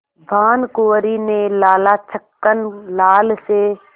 भानकुँवरि ने लाला छक्कन लाल से